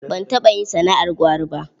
Ban taɓa yin sana'ar gwari ba.